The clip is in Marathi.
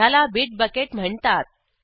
ह्याला बिट बकेट म्हणतात